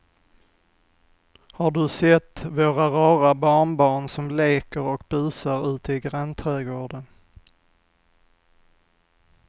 Har du sett våra rara barnbarn som leker och busar ute i grannträdgården!